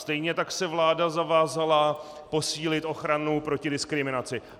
Stejně tak se vláda zavázala posílit ochranu proti diskriminaci.